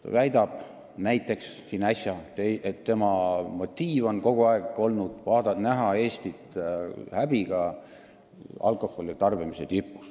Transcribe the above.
Äsja ta väitis, et tal on olnud häbi näha kogu aeg Eestit alkoholi tarbimise tabeli tipus.